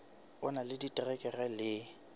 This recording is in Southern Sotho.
o na le diterekere le